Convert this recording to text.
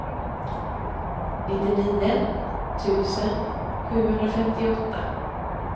nittionio tusen sjuhundrafemtioåtta